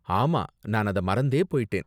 ஆமா, நான் அத மறந்தே போயிட்டேன்.